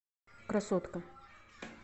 красотка